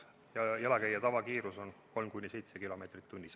Jalakäija tavakiirus on 3–7 kilomeetrit tunnis.